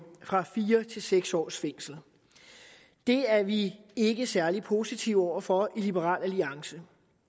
fra fire til seks års fængsel det er vi ikke særlig positive over for i liberal alliance